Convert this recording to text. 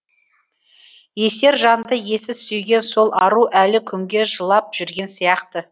есер жанды ессіз сүйген сол ару әлі күнге жылап жүрген сияқты